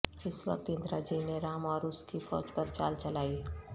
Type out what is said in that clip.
اس وقت اندراجی نے رام اور اس کی فوج پر چال چلائی